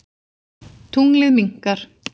Tunglið minnkar.